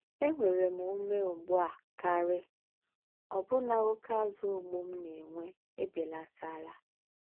Ènwéré m úmé ùgbù á kárì̀, òbù̀nà óké àzù̀ mgbú m nà-ènwé èbélátálà.